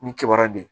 Ni kibaruya de ye